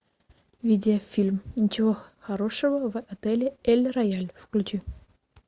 видеофильм ничего хорошего в отеле эль рояль включи